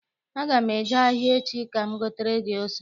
Aga m eje ahịa echi ka m gotere gị ose.